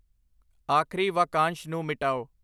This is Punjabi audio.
ਆਖਰੀ ਵਾਕਾਂਸ਼ ਨੂੰ ਮਿਟਾਓ